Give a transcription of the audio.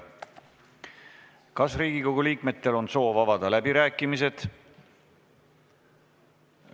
Kas Riigikogu liikmetel on soov avada läbirääkimised?